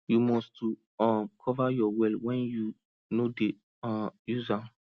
you must to um cover your well when you no dey um use am